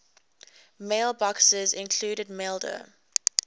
mailboxes include maildir